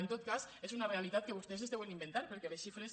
en tot cas és una realitat que vostès es deuen inventar perquè les xifres